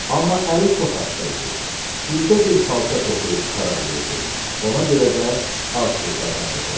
Amma əli çox asta idi, ildə bir xalça toxuyub qurtara bilirdi, ona görə də az pul qazanırdı.